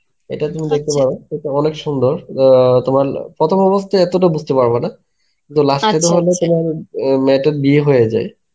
এটা তুমি দেখতে পারো. এটা অনেক সুন্দর. আ তোমার প্রথম অবস্থায় এতটা বুঝতে পারবেনা. কিন্তু last এ তোমার ইম মেয়েটার বিয়ে হয়ে যায়